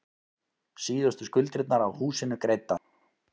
Síðustu skuldirnar af húsinu greiddar.